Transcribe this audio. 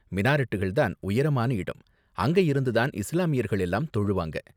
மினாரெட்டுகள் தான் உயரமான இடம், அங்க இருந்து தான் இஸ்லாமியர்கள் எல்லாரும் தொழுவாங்க.